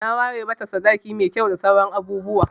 Na ware mata sadaki mai kyau da sauran abubuwa.